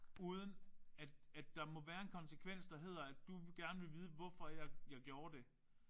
Uden at at der må være en konsekvens der hedder at du gerne vil vide hvorfor jeg jeg gjorde det